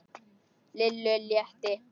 Lillu létti.